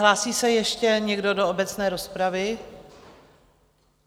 Hlásí se ještě někdo do obecné rozpravy?